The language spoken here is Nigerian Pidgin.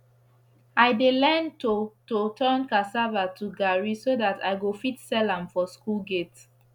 i dey learn to to turn casava to garri so dat i go fit sell am for school gate